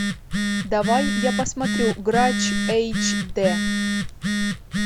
давай я посмотрю грач эйч д